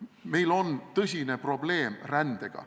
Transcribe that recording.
Meil on tõsine probleem rändega.